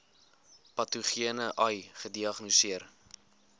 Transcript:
patogene ai gediagnoseer